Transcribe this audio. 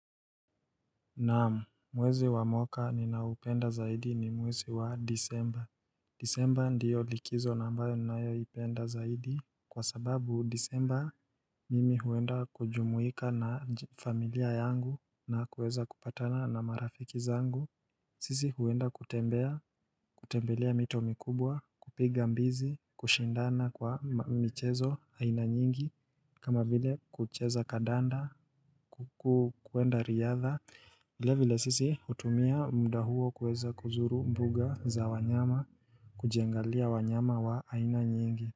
Naam, mwezi wa mwaka ninaupenda zaidi ni mwezi wa disemba Disemba ndiyo likizo na ambayo ninayoipenda zaidi Kwa sababu disemba mimi huenda kujumuika na familia yangu na kuweza kupatana na marafiki zangu sisi huenda kutembea, kutembelea mito mikubwa, kupiga mbizi, kushindana kwa michezo aina nyingi kama vile kucheza kadanda, kukuenda riadha, vile vile sisi hutumia mda huo kuweza kuzuru mbuga za wanyama, kujiangalia wanyama wa aina nyingi.